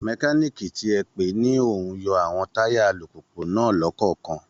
Mẹkáníìkì ti ẹ pè ni ó ń yọ àwọn táyà alùpùpù náà lọ́kọ̀ọ̀kan